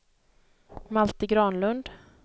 Malte Granlund